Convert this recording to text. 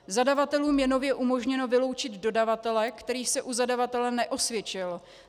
Zadavatelům je nově umožněno vyloučit dodavatele, který se u zadavatele neosvědčil.